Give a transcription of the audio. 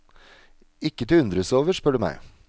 Ikke til å undres over, spør du meg.